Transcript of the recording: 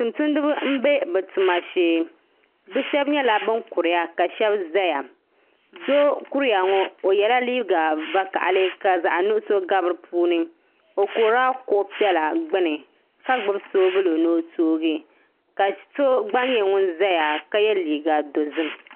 Tumtumdiba n bɛ bi tuma shee bi shab nyɛla bin kuriya ka shab ʒɛya doo n kuriya ŋo o yɛla liiga vakaɣali ka zaɣ nuɣso gabi di puuni o kurila kuɣu piɛla gbuni ka gbubi soobuli ni o toogi ka so gba nyɛ ŋun ʒɛya ka yɛ liiga dozim